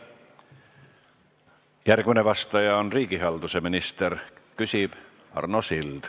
Järgmine vastaja on riigihalduse minister, küsib Arno Sild.